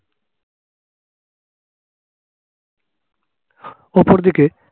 অপর দিকে